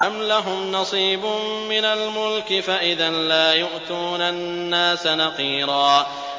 أَمْ لَهُمْ نَصِيبٌ مِّنَ الْمُلْكِ فَإِذًا لَّا يُؤْتُونَ النَّاسَ نَقِيرًا